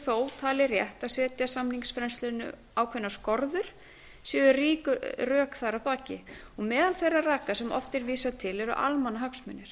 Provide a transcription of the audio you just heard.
þó talið rétt að setja samningsfrelsinu ákveðnar skorður séu rík rök þar að baki meðal þeirra raka sem oft er vísað til eru almannahagsmunir